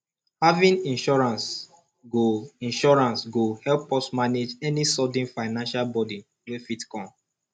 having insurance go insurance go help us manage any sudden financial burden wey fit come